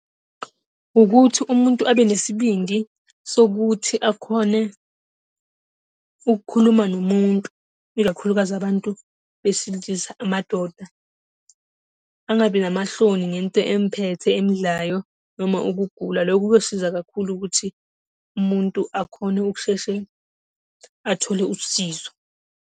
Ukuthi umuntu abanesibindi sokuthi akhone ukukhuluma nomuntu, ikakhulukazi abantu besilisa, amadoda. Angabi namahloni ngento emphethe emdlayo noma ukugula. Lokho kosiza kakhulu ukuthi, umuntu akhone ukusheshe athole usizo.